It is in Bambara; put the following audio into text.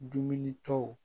Dumuni ko